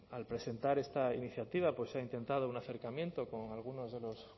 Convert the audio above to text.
al presentar esta iniciativa se ha intentado un acercamiento con algunos de los